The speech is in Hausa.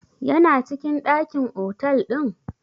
Ya na cikin ɗakin otal ɗin?